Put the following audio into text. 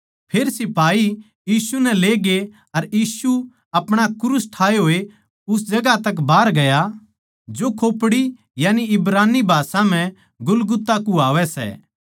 फेर सिपाही यीशु नै ले गए अर यीशु अपणा क्रूस ठाए होए उस जगहां तक बाहर गया जो खोपड़ी यानी इब्रानी भाषा म्ह गुलगुता कुह्वावै सै